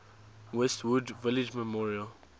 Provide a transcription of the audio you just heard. westwood village memorial